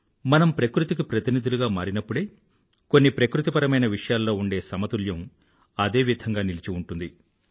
మనం ప్రకృతికి ప్రతినిధులుగా మారినప్పుడే కొన్ని ప్రకృతిపరమైన విషయాల్లో ఉండే సమతుల్యం అదే విధంగా నిలిచి ఉంటుంది